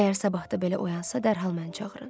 Əgər sabah da belə oyansa dərhal məni çağırın.